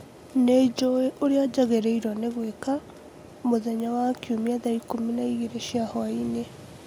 Nĩ njũũĩ ũrĩa njagĩrĩirwo nĩ gwĩka mũthenya wa Kiumia thaa ikũmi na igĩrĩ cia hwaĩinĩ